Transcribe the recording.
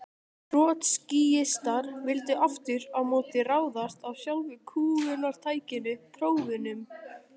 Trotskíistar vildu aftur á móti ráðast að sjálfu kúgunartækinu: prófunum.